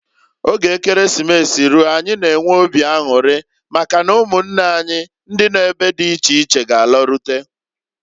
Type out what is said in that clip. Oge Ekeresimesi ruo anyị n'enwe obi anwụrị maka na ụmụnne anyi ndị nọ n'ebe di iche iche g'alarute.